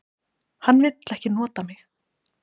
Hann vill ekki nota mig.